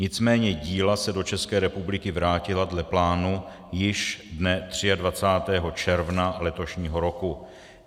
Nicméně díla se do České republiky vrátila dle plánu již dne 23. června letošního roku.